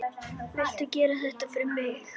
Viltu gera þetta fyrir mig!